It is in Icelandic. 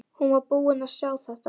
Hún var búin að sjá þetta!